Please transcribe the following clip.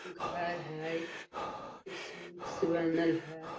इ घर है से बनल हेय।